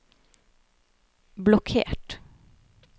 blokkert